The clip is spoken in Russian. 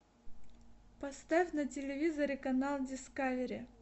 поставь на телевизоре канал дискавери